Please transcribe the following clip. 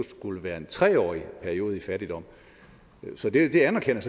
skulle være en tre årig periode i fattigdom så det anerkender